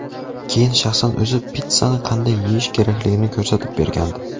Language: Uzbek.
Keyin shaxsan o‘zi pitssani qanday yeyish kerakligini ko‘rsatib bergandi .